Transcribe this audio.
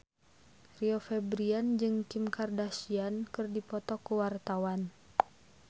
Rio Febrian jeung Kim Kardashian keur dipoto ku wartawan